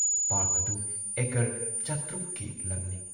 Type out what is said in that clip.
Park ꯑꯗꯨ acre ꯶꯰꯰ ꯀꯤ ꯂꯝꯅꯤ ꯫